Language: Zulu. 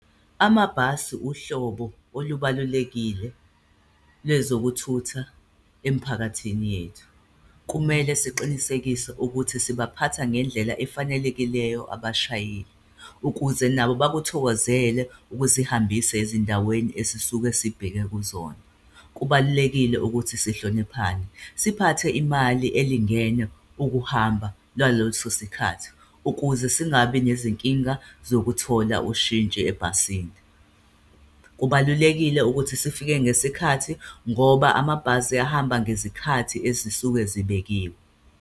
Amabhasi uhlobo olubalulekile lezokuthutha emphakathini yethu, kumele siqinisekise ukuthi sibaphatha ngendlela efanelekileyo abashayeli ukuze nabo bakuthokozele ukusihambisa ezindaweni esisuke sibheke kuzona. Kubalulekile ukuthi sihloniphane, siphathe imali elingene ukuhamba lwaloso sikhathi ukuze singabi nezinkinga zokuthola ushintshi ebhasini. Kubalulekile ukuthi sifike ngesikhathi ngoba amabhasi ahamba ngezikhathi ezisuke zibekiwe.